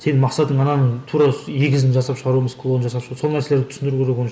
сенің мақсатың ананың тура егізін жасап шығару емес клонын жасап сол нәрселерді түсіндіру керек оны